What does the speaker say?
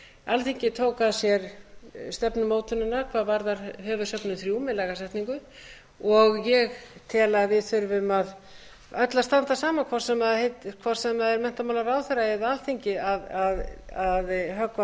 alþingi tók að sér stefnumótunina hvað varðar höfuðsöfn þrjú með lagasetningu og ég tel að við þurfum öll að standa saman hvort sem það heitir menntamálaráðherra eða alþingi að höggva á þennan hnút þannig